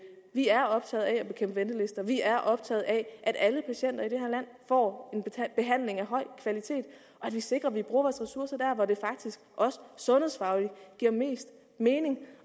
er optaget af at bekæmpe ventelister vi er optaget af at alle patienter i det her land får behandling af høj kvalitet og at vi sikrer at vi bruger vores ressourcer der hvor det faktisk også sundhedsfagligt giver mest mening